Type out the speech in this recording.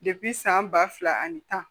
san ba fila ani tan